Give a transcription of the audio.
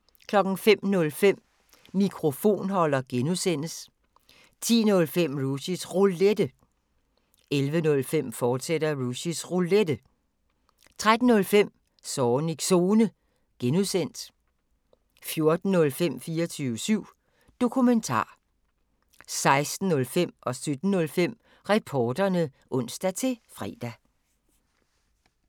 05:05: Mikrofonholder (G) 10:05: Rushys Roulette 11:05: Rushys Roulette, fortsat 13:05: Zornigs Zone (G) 14:05: 24syv Dokumentar 16:05: Reporterne (ons-fre) 17:05: Reporterne (ons-fre)